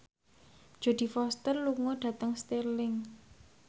Jodie Foster lunga dhateng Stirling